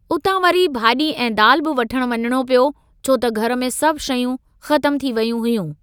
उतां वरी भाजी॒ ऐं दालि बि वठण वञणो पियो, छो त घर में सभ शयूं ख़तमु थी वयूं हुयूं।